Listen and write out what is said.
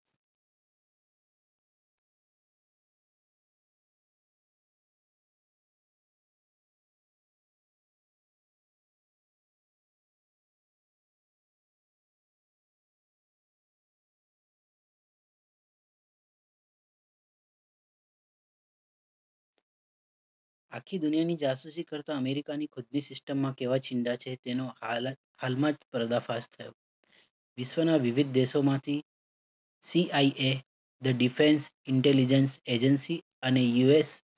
આખી દુનિયાની જાસૂસી કરતા અમેરિકાની ખુદની system માં કેવા છે તેનો હાલ જ હાલમાં પર્દાફાશ થયો. વિશ્વના વિવિધ દેશોમાંથી DIA the defense intelligence agency અને US